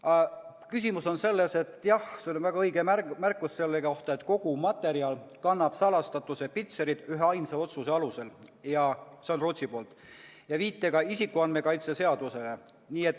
Aga küsimus on selles – sul on väga õige märkus selle kohta –, et kogu materjal kannab salastatuse pitserit üheainsa Rootsi-poolse otsuse alusel ja viitega isikuandmete kaitse seadusele.